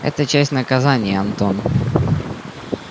это часть наказания антон